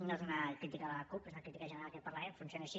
no és una crítica a la cup és una crítica general a aquest parlament funciona així